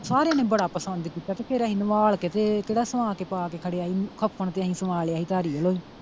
ਸਾਰਿਆਂ ਨੇ ਬੜਾ ਪਸੰਦ ਕੀਤਾ ਤੇ ਫਿਰ ਅਸੀਂ ਨਵਾਲ ਕੇ ਤੇ ਕੇਹੜਾ ਸਵਾ ਕੇ ਪਾ ਕੇ ਖੜ੍ਹਿਆ ਸੀ ਕਫ਼ਨ ਤੇ ਅਸੀਂ ਸਵਾ ਲਿਆ ਸੀ ਧਾਰੀਵਾਲੋਂ ਹੀ।